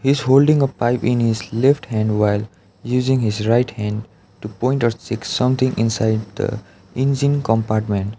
is holding a pipe in his left hand while using his right hand to point or check something inside the engine compartment.